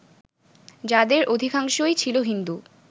যাঁদের অধিকাংশই ছিল হিন্দু